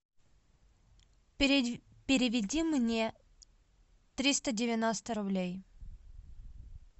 переведи мне триста девяносто рублей